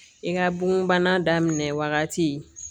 I ka bon bana daminɛ wagati